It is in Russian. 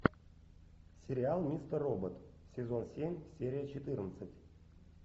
сериал мистер робот сезон семь серия четырнадцать